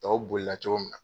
Tɔw bolila cogo min na